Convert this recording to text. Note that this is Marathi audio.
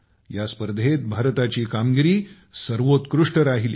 या स्पर्धेत भारताची कामगिरी सर्वोत्कृष्ट राहिली